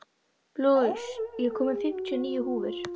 Louise, ég kom með fimmtíu og níu húfur!